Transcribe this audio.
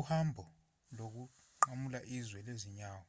uhambo lokunqamula izwe lwezinyawo